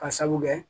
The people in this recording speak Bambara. Ka sabu kɛ